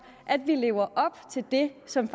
at vi lever op til det som